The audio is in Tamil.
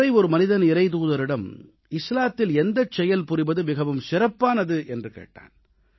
ஒருமுறை ஒரு மனிதன் இறைத்தூதரிடம் இஸ்லாத்தில் எந்தச் செயல் புரிவது மிகவும் சிறப்பானது என்று கேட்டான்